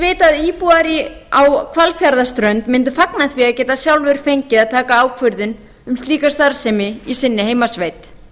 vita að íbúar á hvalfjarðarströnd mundu fagna því að geta sjálfir fengið að taka ákvörðun um slíka starfsemi í sinni heimasveit